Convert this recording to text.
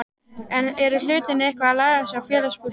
Eru hlutirnir eitthvað að lagast hjá Félagsbústöðum?